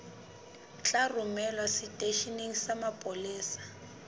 tla romelwa seteisheneng sa mapolesa